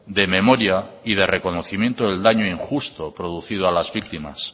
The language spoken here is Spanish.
de memoria y de reconocimiento del daño injusto producido a las víctimas